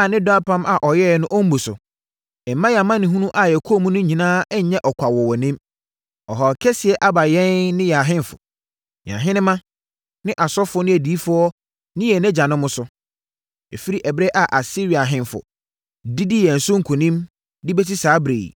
a ne dɔ apam a ɔyɛeɛ no ɔmmu so, mma yɛn amanehunu a yɛkɔɔ mu no nyinaa nnyɛ ɔkwa wɔ wʼanim. Ɔhaw kɛseɛ aba yɛn ne yɛn ahemfo, yɛn ahenemma ne asɔfoɔ ne adiyifoɔ ne yɛn agyanom so, firi ɛberɛ a Asiria ahemfo didii yɛn so nkonim, de bɛsi saa ɛberɛ yi.